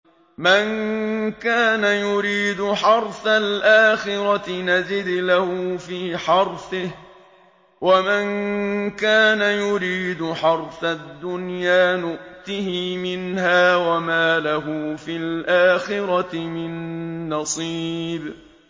مَن كَانَ يُرِيدُ حَرْثَ الْآخِرَةِ نَزِدْ لَهُ فِي حَرْثِهِ ۖ وَمَن كَانَ يُرِيدُ حَرْثَ الدُّنْيَا نُؤْتِهِ مِنْهَا وَمَا لَهُ فِي الْآخِرَةِ مِن نَّصِيبٍ